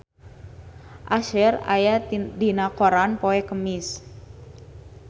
Usher aya dina koran poe Kemis